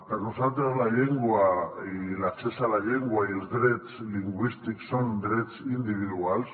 per nosaltres la llengua i l’accés a la llengua i els drets lingüístics són drets individuals